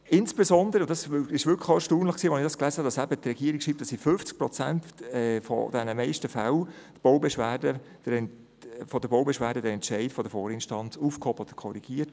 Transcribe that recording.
Insbesondere, und das hat mich beim Lesen wirklich erstaunt, dass die Regierung schreibt, in 50 Prozent der Baubeschwerden werde der Entscheid der Vorinstanz aufgehoben oder korrigiert.